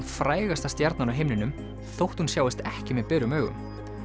frægasta stjarnan á himninum þótt hún sjáist ekki með berum augum